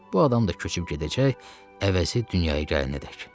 Bu adam da köçüb gedəcək, əvəzi dünyaya gələnədək.